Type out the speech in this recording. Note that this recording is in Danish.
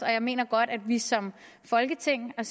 jeg mener godt at vi som folketing